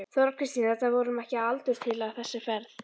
Þóra Kristín: Þetta verður honum ekki að aldurtila þessi ferð?